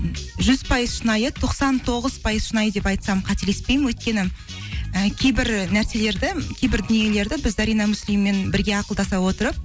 жүз пайыз шынайы тоқсан тоғыз пайыз шынайы деп айтсам қателеспеймін өйткені і кейбір нәрселерді кейбір дүниелерді біз зарина муслиммен бірге ақылдаса отырып